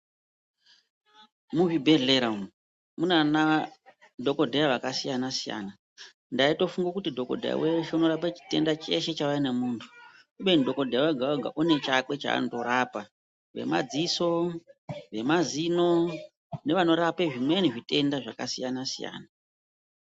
Muzvibhedhlera umu munana dhokodheya vakasiyana-siyana. Ndaitofungo kuti dhokodheya weshe unorapa cheshe chitenda chauya nemuntu, kubeni dhokodheya wega-wega une chakwe chaanotorapa. Vemadziso, vemazino nevanorape zvimweni zvitenda zvakasiyana-siyana.